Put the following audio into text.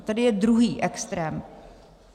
A tady je druhý extrém.